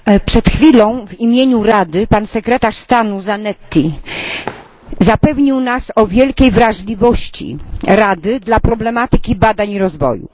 Przed chwilą w imieniu Rady pan sekretarz stanu Zanetti zapewnił nas o wielkiej wrażliwości Rady dla problematyki badań naukowych i rozwoju.